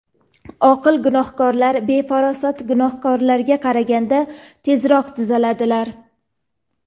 Oqil gunohkorlar befarosat gunohkorlarga qaraganda tezroq tuzaladilar.